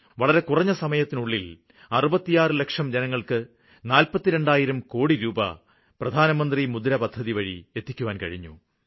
വളരെ കുറഞ്ഞ സമയത്തിനുള്ളില് 66 ലക്ഷം ജനങ്ങള്ക്ക് നാല്പത്തി രണ്ടായിരം കോടി രൂപ 42000 കോടി രൂപ പ്രധാനമന്ത്രി മുദ്ര പദ്ധതിവഴി എത്തിക്കാന് കഴിഞ്ഞു